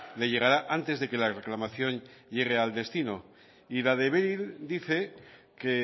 le llegará antes de que la reclamación llegue al destino y la beryl dice que